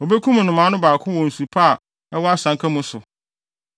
Obekum nnomaa no baako wɔ nsu pa a ɛwɔ asanka mu so,